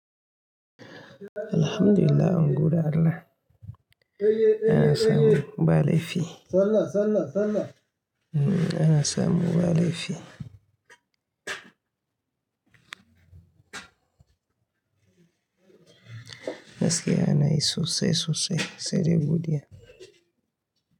Alhamdulillah, an gode Allah. Ana samu ba laifi. Ana samu ba laifi. Gaskiya ana yi sosai sosai, sai dai godiya.